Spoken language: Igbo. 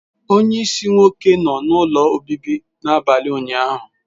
Onye isi nwoke nọ n'ụlọ obibi n'abalị ụnyaahụ.